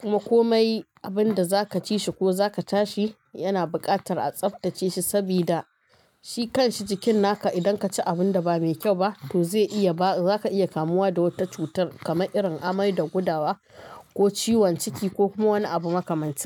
Kuma komai abin da za ka ci shi ko za ka tashi yana buƙatar a tsabtace shi, sabida shi kan shi jikin naka. Idan ka ci abin da ba mai kyau ba, to zai iya ba, za ka iya kamuwa da wata cutar kamar irin amai da gudawa ko ciwon ciki, ko kuma wani abu makamanci.